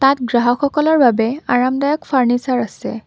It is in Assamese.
ইয়াত গ্ৰাহকসকলৰ বাবে আৰামদায়ক ফাৰ্নিছাৰ আছে।